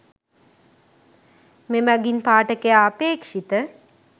මෙමඟින් පාඨකයා අපේක්‍ෂිත